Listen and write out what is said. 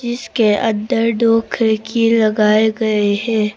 इसके अंदर दो खिड़की लगाए गए हैं।